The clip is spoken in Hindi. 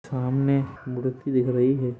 सामने मूर्ति दिख रही है।